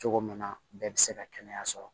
Cogo min na bɛɛ bɛ se ka kɛnɛya sɔrɔ